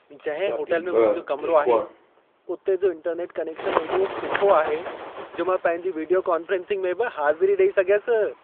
जंहिं होटल में मुंहिंजो कमिरो आहे, उते जो इंटरनेट कनेक्शन एॾो सुठो आहे, जो मां पंहिंजी विडीयो कोन्फ्रेंसिंग में बि हाज़िरी ॾेई सघियसि।